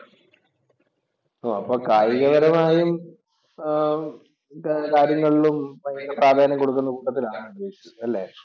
അപ്പൊ കായികപരമായും ആഹ് കാര്യങ്ങളിലും പ്രാധാന്യം കൊടുക്കുന്ന കൂട്ടത്തിൽ ആണ് ഉപേഷ് അല്ലേ?